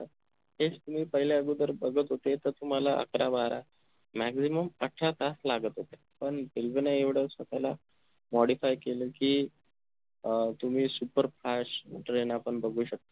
तेच तुम्ही पहिल्या अगोदर बघत होते त तुम्हाला एकर बारा maximum अठरा तास लागत होते पण railway न एवढं स्वतःला modify केलं कि अह तुम्ही superfast train आपण बघू शकतो